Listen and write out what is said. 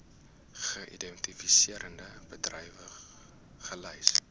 geïdentifiseerde bedrywe gelys